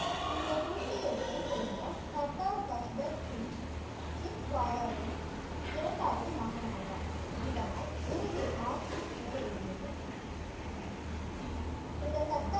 இந்த குல்கீ எல்ஸை சேர்ந்த சர்தார் சிங் ஜின்வாலாவின் இரண்டாவது மகனாவார் இதனால் குருவின் ஆசி நிறைவேறியது இந்த சட்ட